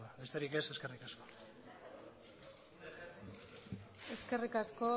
besterik ez eskerrik asko eskerrik asko